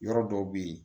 Yɔrɔ dɔw bɛ yen